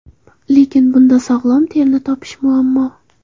Lekin bunda sog‘lom terini topish muammo.